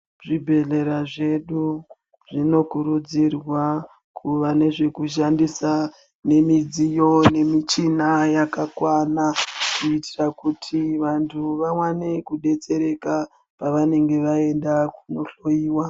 Zvibhedhlera zvedu, zvinokurudzirwa kuva nezvekushandisa nemidziyo nemichina yakakwana, kuitira kuti vantu vawane kudetsereka, pavanenge vaenda kunohlowiwa.